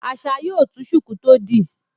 Asa yóò tú shuku tó dì